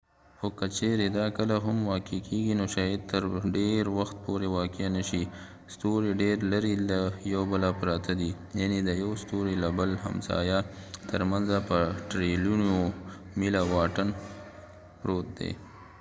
خو که چیرې دا کله هم واقع کیږي نو شاید تر ډیر وخت پورې واقع نه شي ستوري ډیر لرې له یو بله پراته دي یعنی د یو ستوري له بل همسایه تر منځه په ټریلیونونو میله واټن پروت دی